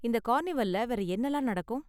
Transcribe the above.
இந்த கார்னிவல்ல வேற என்னலாம் நடக்கும்?